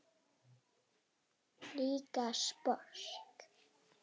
Líka sposk.